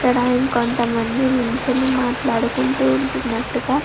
ఇక్కడ ఇంకొంత మంది నిల్చొని మాట్లాడుకుంటూ ఉంటున్నట్టుగా --